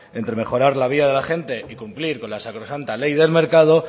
entre mejorar la vida de la gente y cumplir con la sacrosanta ley del mercado